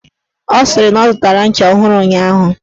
Ọ sịrị na ọ zụtara ncha ọhụrụ ụnyaahụ.